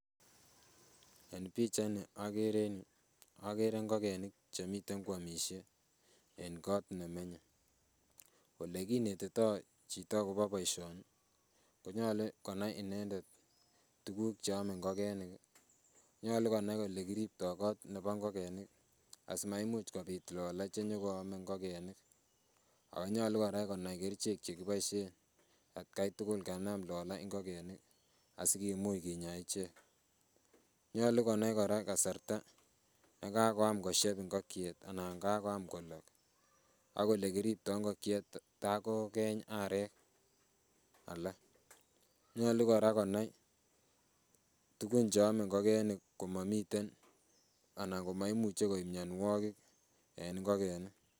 En pichait ni okere en yuu okere ngokenik chemiten koamisie en kot nemenye olekinetitoo chito akobo boisioni konyolu konai inendet tuguk cheome ngokenik ih, nyolu konai olekiriptoo kot nebo ngokenik ih asimaimuch kobit lola chenyokoame ngokenik ako nyolu kora konai kerichek chekiboisien atkai tugul kanam lola ngokenik asikimuch kinyaa ichek. Nyolu konai kora kasarta yekakoyam koshep ngokiet anan kakoyam kolok ak olekiriptoo ngokiet tai kokeeny arek alak nyolu kora konai tugun cheome ngokenik komomiten anan komoimuche koib mionwogik en ngokenik.